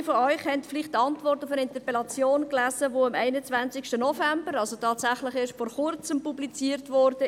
Einige von Ihnen haben vielleicht die Antwort auf die Interpellation gelesen, die am 21. November, also tatsächlich erst vor Kurzem publiziert wurde.